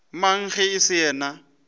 mang ge e se yena